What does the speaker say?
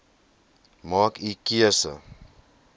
maak u keuse